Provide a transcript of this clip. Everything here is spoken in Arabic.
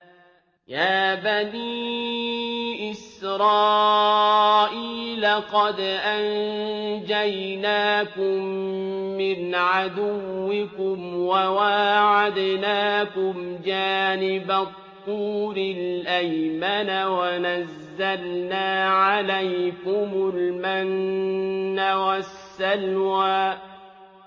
يَا بَنِي إِسْرَائِيلَ قَدْ أَنجَيْنَاكُم مِّنْ عَدُوِّكُمْ وَوَاعَدْنَاكُمْ جَانِبَ الطُّورِ الْأَيْمَنَ وَنَزَّلْنَا عَلَيْكُمُ الْمَنَّ وَالسَّلْوَىٰ